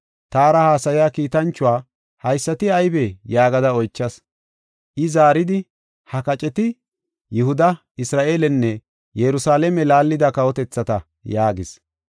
Taara haasaya kiitanchuwa, “Haysati aybee?” yaagada oychas. I zaaridi, “Ha kaceti Yihuda, Isra7eelenne Yerusalaame laallida kawotethata” yaagis.